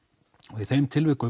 og í þeim tilvikum